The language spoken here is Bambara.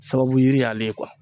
Sababu yiri y'ale